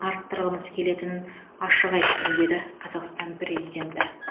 арттырғымыз келетінін ашық айттым қазақстан президенті